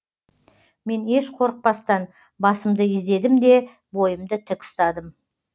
мен еш қорықпастан басымды изедім де бойымды тік ұстадым